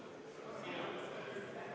Palun tuua hääletamiskast saali!